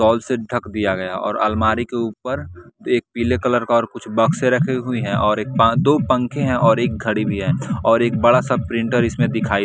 से ढक दिया गया और अलमारी के ऊपर एक पीले कलर का और कुछ बॉक्स रखी हुई है और एक दो पंखे हैं और एक घड़ी भी है और एक बड़ा सा प्रिंटर इसमें दिखाई।